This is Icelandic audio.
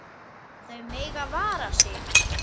Þau mega vara sig.